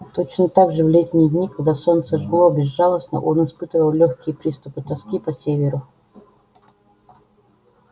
точно так же в летние дни когда солнце жгло безжалостно он испытывал лёгкие приступы тоски по северу